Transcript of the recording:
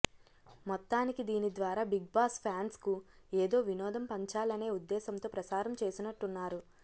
మొత్తానికి దీని ద్వారా బిగ్ బాస్ ఫ్యాన్స్కు ఏదో వినోదం పంచాలనే ఉద్దేశంతో ప్రసారం చేసినట్టున్నారు